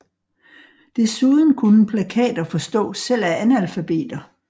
Desuden kunne plakater forstås selv af analfabeter